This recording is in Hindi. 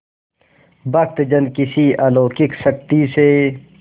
भक्तजन किसी अलौकिक शक्ति से